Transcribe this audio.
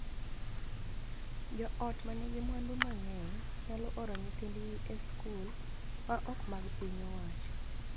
Jo ot ma nigi mwandu mang�eny nyalo oro nyithindgi e skul ma ok mag piny owacho.